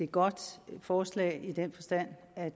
godt forslag i den forstand at